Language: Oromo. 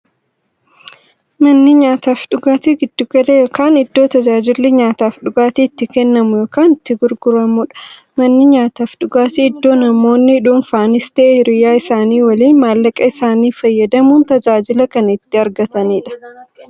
Manni nyaataafi dhugaatii giddu gala yookiin iddoo taajilli nyaataafi dhugaatii itti kennamu yookiin itti gurguramuudha. Manni nyaataafi dhugaatii iddoo namoonni dhunfanis ta'ee hiriyyaa isaanii waliin maallaqa isaanii fayyadamuun tajaajila kana itti argataniidha.